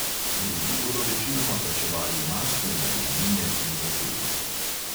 Drugi bodo večinoma plačevali mastne najemnine pri zasebnikih.